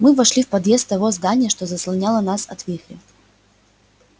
мы вошли в подъезд того здания что заслоняло нас от вихря